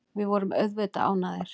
Við vorum auðvitað ánægðir.